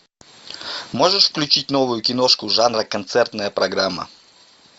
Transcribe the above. можешь включить новую киношку жанра концертная программа